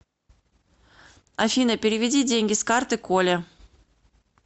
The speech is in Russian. афина переведи деньги с карты коле